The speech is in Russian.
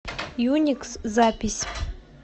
юникс запись